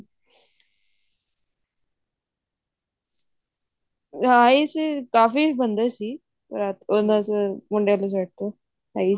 ਹੈ ਸੀ ਕਾਫੀ ਬਣੇ ਸੀ ਉਹਨਾ ਚ ਮੁੰਡੇ ਆਲੀ side ਤੋਂ